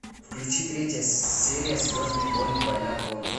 включи третья серия звездные войны война клонов